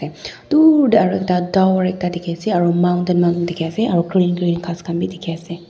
dur dae aro ekta tower ekta aro mountain mountain diki asae aro green green khas khan bi diki asae.